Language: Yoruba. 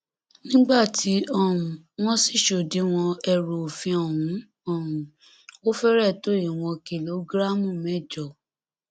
nígbà tí um wọn sì ṣòdíwọn ẹrù òfin ọhún um ó fẹrẹ tó ìwọn kìlógíráàmù mẹjọ